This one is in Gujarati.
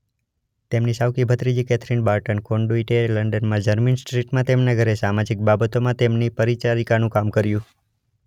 તેમની સાવકી ભત્રીજી કેથરીન બાર્ટન કોનડુઇટએ લંડનમાં જર્મીન સ્ટ્રીટમાં તેમના ઘરે સામાજિક બાબતોમાં તેમની પરિચારિકાનું કામ કર્યું.